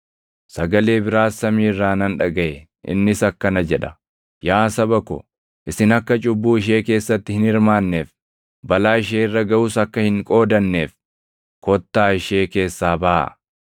Sagalee biraas samii irraa nan dhagaʼe; innis akkana jedha: “ ‘Yaa saba ko, isin akka cubbuu ishee keessatti hin hirmaanneef, balaa ishee irra gaʼus akka hin qoodanneef, kottaa ishee keessaa baʼaa;’ + 18:4 \+xt Erm 51:45\+xt*